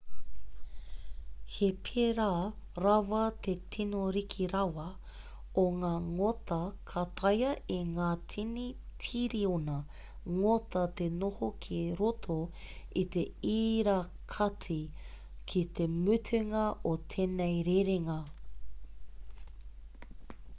he pērā rawa te tino riki rawa o ngā ngota ka taea e ngā tini tiriona ngota te noho ki roto i te irakati ki te mutunga o tēnei rerenga